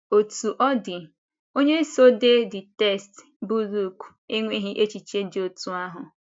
Ọ̀tú ọ dị, onye so dee the text bụ́ Lùk enweghị echiche dị otú ahụ.